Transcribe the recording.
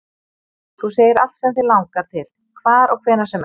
Þú segir allt sem þig langar til, hvar og hvenær sem er